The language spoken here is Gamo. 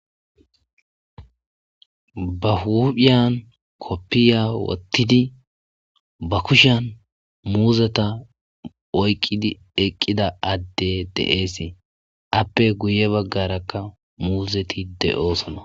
ba hudpdhiyan koppiya wottidi ba kushan muuzeta oyqqidi eqqida adde de7eesee appe guye baggarakka muuzeti de7oosona